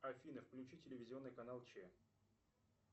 афина включи телевизионный канал че